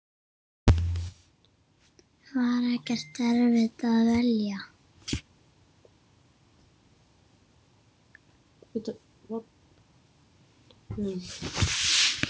Var ekkert erfitt að velja?